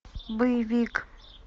боевик